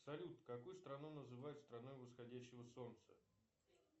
салют какую страну называют страной восходящего солнца